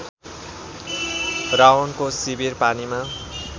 रावणको शिविर पानीमा